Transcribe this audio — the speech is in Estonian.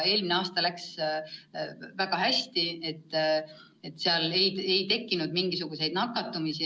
Eelmine aasta läks väga hästi, ei tekkinud mingisuguseid nakatumisi.